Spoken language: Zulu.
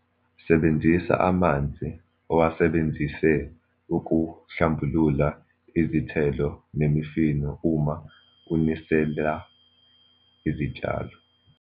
Sebenzisa amanzi owasebenzise ukuhlambulula izithelo nemifino uma unisela izitshalo.